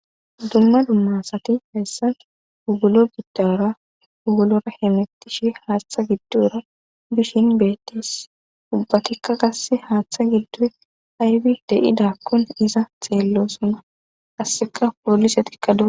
Dumma dummasati hessan hugulo giddaora ugulora hemettishi haaththa giddora bishin beettis ubbatikka gasse haaththa giddo harbi deyidakkun iza xeello sona asseka poolise tikkada.